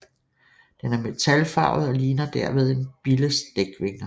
Den er metalfarvet og ligner derved en billes dækvinger